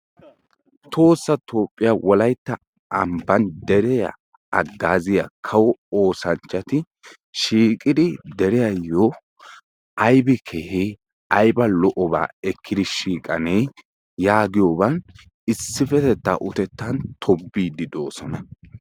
Tohoossa toophiya wolaytta ambban deriya haggaazayiya kawo oosanchchati shiiqidi deriyayyo aybi kehee ayba lol"obaa ekkidi shiiqanee yaagiyogan issippetettaa utettan tobbiiddu doosona.